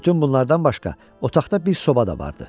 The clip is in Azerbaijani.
Bütün bunlardan başqa otaqda bir soba da vardı.